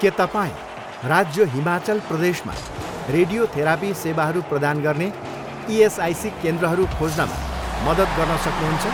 के तपाईँँ राज्य हिमाचल प्रदेशमा रेडियोथेरापी सेवाहरू प्रदान गर्ने इएसआइसी केन्द्रहरू खोज्नमा मद्दत गर्न सक्नुहुन्छ?